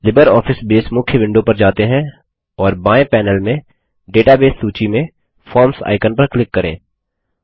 LibreOffice Base मुख्य window पर जाते हैं और बाएं पैनेल में डेटाबेस सूची में फॉर्म्स आइकन पर क्लिक करें